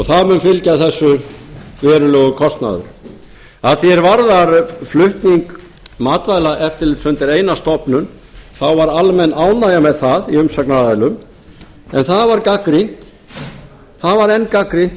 það mun fylgja þessu verulegur kostnaður að því er varðar flutning matvælaeftirlits undir eina stofnun þá var almenn ánægja með það hjá umsagnaraðilum en það var gagnrýnt það var enn gagnrýndur